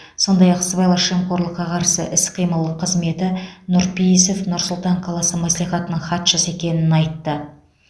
сондай ақ сыбайлас жемқорлыққа қарсы іс қимыл қызметі нұрпейісов нұр сұлтан қаласы мәслихатының хатшысы екенін айтты